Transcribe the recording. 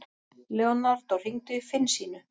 Leonardo, hringdu í Finnsínu.